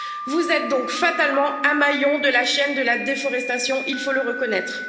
Vous êtes donc fatalement un maillon de la chaîne de la déforestation, il faut le reconnaître.